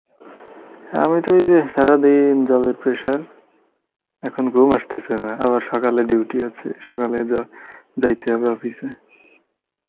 আমি তো ওই যে সারাদিন job এর pressure, এখন ঘুম আসতেছে না আবার সকালে duty আছে সকালে জ~ যাইতে হবে office এ